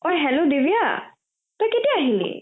অ hello Divya তই কেতিয়া আহিলি ?